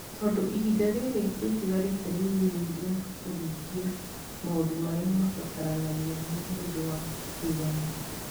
Tondũ ihinda rĩrĩa rĩtigarĩte nĩ inini rĩa kũhingia maũndũ marĩa mabataranagia nĩ ũndũ wa ithurano.